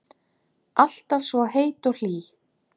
Alltaf svo heit og hlý.